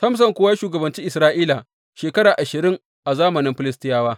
Samson kuwa ya shugabanci Isra’ila shekara ashirin a zamanin Filistiyawa.